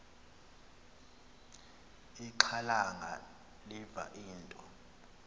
ixhalanga liva into